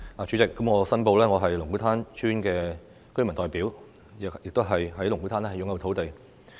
主席，我申報，我是龍鼓灘村的原居民代表，亦在龍鼓灘擁有土地。